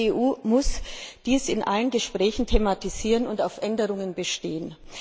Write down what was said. Die EU muss dies in allen Gesprächen thematisieren und auf Änderungen bestehen.